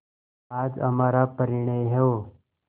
आज हमारा परिणय हो